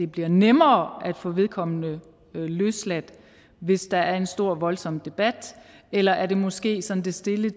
bliver nemmere at få vedkommende løsladt hvis der er en stor og voldsom debat eller er det måske sådan det stille